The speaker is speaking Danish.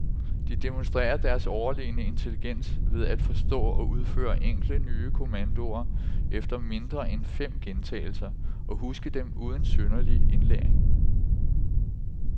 De demonstrerer deres overlegne intelligens ved at forstå og udføre enkle, nye kommandoer efter mindre end fem gentagelser og huske dem uden synderlig indlæring.